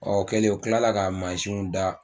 Ɔ o kɛlen u kila la ka mansiw da